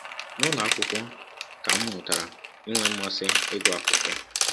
“ N’ụlọ akwụkwọ ka m m mụtara inwe mmasị ịgụ akwụkwọ.